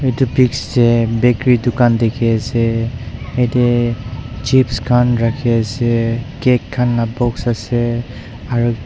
edu pics tae bakery dukan dikhiase yatae chips khan rakhiase cake khan la box ase aru--